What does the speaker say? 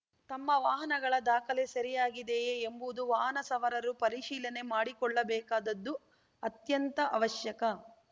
ತಮ್ಮ ವಾಹನಗಳ ದಾಖಲೆ ಸರಿಯಾಗಿದೆಯೇ ಎಂಬುವುದು ವಾಹನ ಸವಾರರು ಪರಿಶೀಲನೆ ಮಾಡಿಕೊಳ್ಳಬೇಕಾದ್ದು ಅತ್ಯಂತ ಆವಶ್ಯಕ